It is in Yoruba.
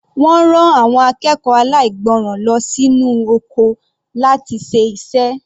Wọ́n rán àwọn akẹ́kọ̀ọ́ aláìgbọràn lọ sí inú oko láti ṣe iṣẹ́.